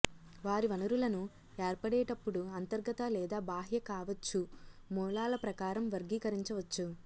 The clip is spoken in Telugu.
వారి వనరులను ఏర్పడేటప్పుడు అంతర్గత లేదా బాహ్య కావచ్చు మూలాల ప్రకారం వర్గీకరించవచ్చు